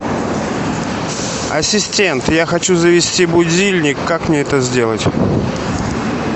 ассистент я хочу завести будильник как мне это сделать